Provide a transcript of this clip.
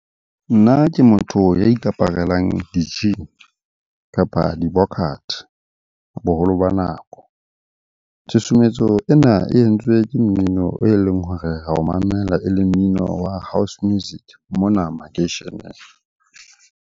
Nna ke motho ya ikaparelang di-jean, kapa dibokate boholo ba nako. Tshusumetso ena e entswe ke mmino e leng hore ra o mamela e leng mmino wa house music mona makeisheneng.